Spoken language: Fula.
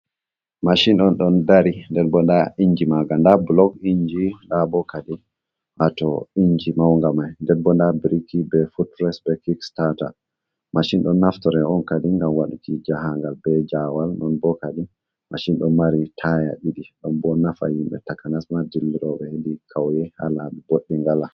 Machin on ɗon dari denbo nda inji ma nga, nda bulok inji, nda bo kadi ha to inji maun nga mai, dembo da birki be fotres be kis stata. machin ɗon naftore on kadi ngam waɗuki jahagal be jawal, non bo kadi machin ɗon marira taya ɗiɗi, ɗon bo nafa himɓɓe takanas ma diliroɓe hedi kauye ha labi boɗɗum wola.